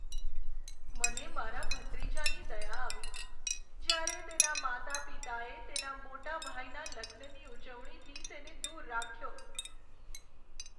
મને મારા ભત્રીજાની દયા આવી, જ્યારે તેનાં માતા પિતાએ તેના મોટા ભાઈના લગ્નની ઉજવણીથી તેને દૂર રાખ્યો.